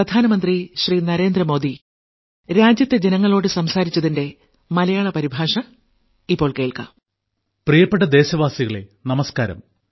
പ്രിയപ്പെട്ട ദേശവാസികളെ നമസ്ക്കാരം